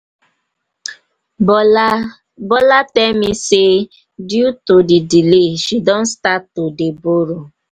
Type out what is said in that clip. bla bola tell me say due to the delay she don start to to dey borrow.